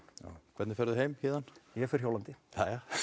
hvernig ferð þú heim héðan ég fer hjólandi jæja